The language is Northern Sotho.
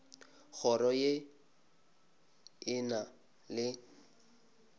kgoro ye e na le